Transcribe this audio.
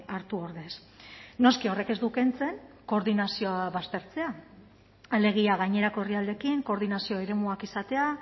hartu ordez noski horrek ez du kentzen koordinazioa baztertzea alegia gainerako herrialdeekin koordinazio eremuak izatea